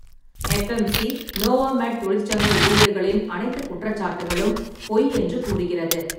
FMC. Novamed தொழிற்சங்க ஊழியர்களின் அனைத்துக் குற்றச்சாட்டுகளும் பொய் என்று கூறுகிறது.